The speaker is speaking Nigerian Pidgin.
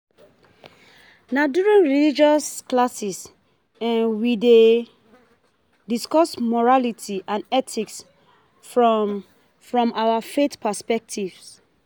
Na during religious classes, we dey discuss morality and ethics from from our faith perspective.